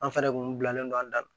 An fɛnɛ kun bilalen don an da la